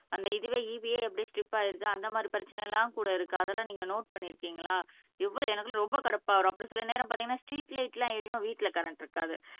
அந்த இதுவே EB யே ஸ்டிப் ஆயிடுது அந்த மாதிரி பிரச்சனை எல்லாம் கூட இருக்கு அதெல்லாம் நீங்க நோட் பண்ணி இருக்கீங்களா எப்பா எனக்கு ரொம்ப கடுப்பா வரும் அப்படி சில நேரம் பார்த்தீங்கன்னா ஸ்ட்ரீட் லைட் எல்லாம் எரியும் வீட்டுல கரண்ட் இருக்காது